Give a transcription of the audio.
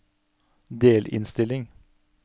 delinnstilling